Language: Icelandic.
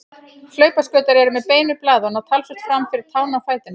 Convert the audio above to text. Hlaupaskautar eru með beinu blaði og ná talsvert fram fyrir tána á fætinum.